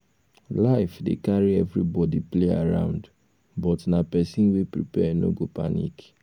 life dey carry everybody play around but na pesin wey prepare no go panic